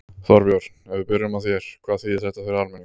Þorbjörn, ef við byrjum á þér, hvað þýðir þetta fyrir almenning?